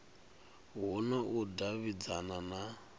hu na u davhidzana na